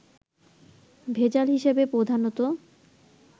ভেজাল হিসেবে প্রধানত